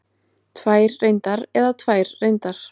Tvær reyndar eða tvær reyndar?